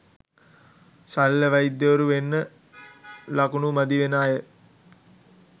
ශල්‍ය වෛද්‍යවරු වෙන්න ළකුණු මදි වෙන අය